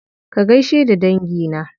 Ka gaishe da dangi na.